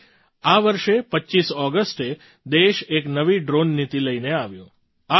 આથી આ વર્ષે 25 ઑગસ્ટે દેશ એક નવી ડ્રૉન નીતિ લઈને આવ્યો